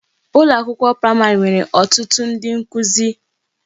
Ụlọ akwụkwọ praịmarị nwere ọtụtụ ndị nkuzi